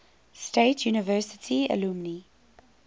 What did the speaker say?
state university alumni